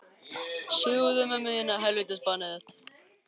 Og getur hann ekki tekið því?